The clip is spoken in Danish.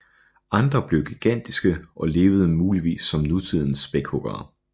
Andre blev gigantiske og levede muligvis som nutidens spækhuggere